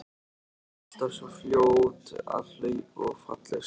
Alltaf svo fljót að hlaupa og falleg saman.